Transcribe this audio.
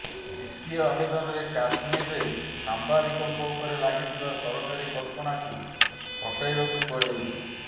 ଦ୍ୱିତୀୟ ଆବେଦନରେ କାଶ୍ମୀରରେ ସାମ୍ବାଦିକଙ୍କ ଉପରେ ଲାଗିଥିବା ସରକାରୀ କଟକଣାକୁ ହଟାଇବାକୁ କୁହାଯାଇଛି